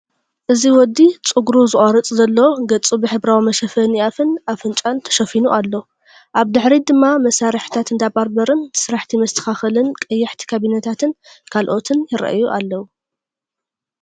እዚ ወዲ ጸጉሩ ዝቖርጽ ዘሎ ፣ገጹ ብሕብራዊ መሸፈኒ ኣፍን ኣፍንጫን ተሸፊኑ ኣሎ። ኣብ ድሕሪት ድማ መሳርሒታት እንዳ ባርበርን ስራሕቲ መስተኻኸልን ቀያሕቲ ካቢነታትን ካልኦትን ይረኣዩ።